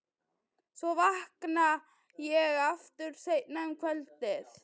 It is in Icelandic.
Svo vakna ég aftur seinna um kvöldið.